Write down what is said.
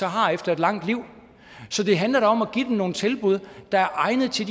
har efter et langt liv så det handler da om at give de mennesker nogle tilbud der er egnet til